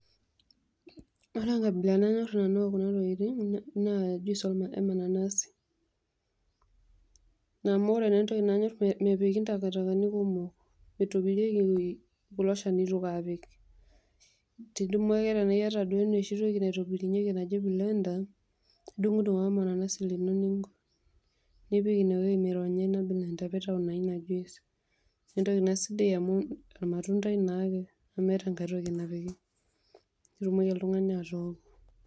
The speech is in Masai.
Ore enkabila nanyor nanu ekuna tokitin naa enemananasi, amu ore naa entoki nanyor, mepiki ntakatakani kumok eituepiki kulo shanito, indumu Ake tanaa iyata enoshi toki naitobirunyeki naji blender idungdung ake ormananasi lino nipik inewueji naironyi nitau naa inajuice naa entoki naa sidai amu irmatundai naake nemeeta enkai toki napiki nitumoki oltungani atooko.